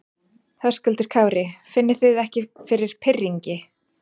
Höskuldur Kári: Finnið þið ekki fyrir pirringi?